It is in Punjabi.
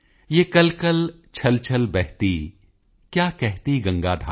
ਯਹ ਕਲਕਲ ਛਲਛਲ ਬਹਿਤੀ ਕਯਾ ਕਹਤੀ ਗੰਗਾ ਧਾਰਾ